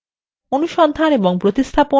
অনুসন্ধান এবং প্রতিস্থাপন বানান পরীক্ষা